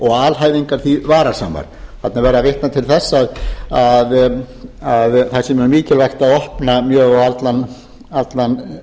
og alhæfingar því varasamar þarna er verið að vitna til þess að það sé mjög mikilvægt að opna mjög á allan